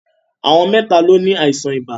Àwọn mẹ́ta ló ní àìsàn ibà.